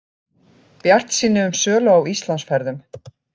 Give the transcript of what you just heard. Bjartsýni um sölu á Íslandsferðum